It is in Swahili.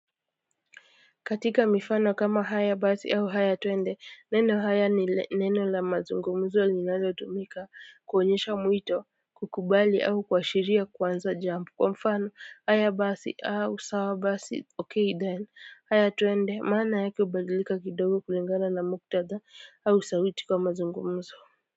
Katika mifano kama haya basi au haya twende neno haya ni neno la mazungumzo linalotumika kuonyesha mwito kukubali au kuashiria kuanza jambo kwa mfano haya basi au sawa basi okay then haya twende maana yake hubadilika kidogo kulingana na muktadha au sauti kwa mazungumzo.